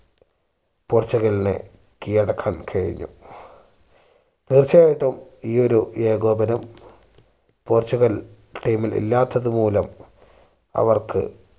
പോർച്ചുഗലിനെ കീഴടക്കാൻ കഴിഞ്ഞു തീർച്ചയായിട്ടും ഈ ഒരു ഏകോപനം പോർച്ചുഗൽ team ഇൽ ഇല്ലാത്തത് മൂലം അവർക്ക്